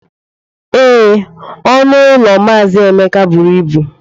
Ee, ọnụ ụlọ mazi Emeka buru ibu.